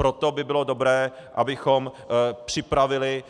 Proto by bylo dobré, abychom připravili